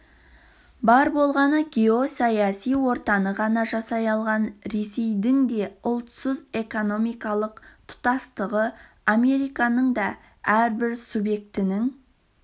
бар болғаны геосаяси ортаны ғана жасай алған ресейдің де ұлтсыз экономикалық тұтастықтағы американың да әрбір субъектінің